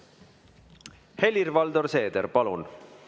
Helir-Valdor Seeder, palun!